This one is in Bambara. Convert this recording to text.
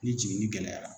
Ni jiginni gɛlɛyara